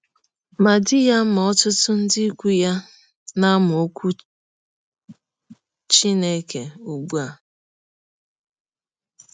Ma di ya ma ọtụtụ ndị ikwụ ya na - amụ Ọkwụ Chineke ụgbụ a.